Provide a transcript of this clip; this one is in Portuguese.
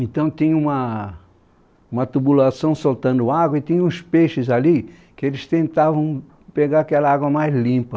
Então tinha uma, uma tubulação soltando água e tinha uns peixes ali que eles tentavam pegar aquela água mais limpa.